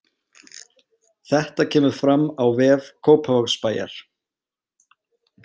Þetta kemur fram á vef Kópavogsbæjar